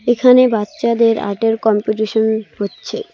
এখানে বাচ্চাদের আর্টের কম্পিটিশন হচ্ছে।